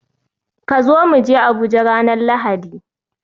Ka zo mu je Abuja ranar Lahadi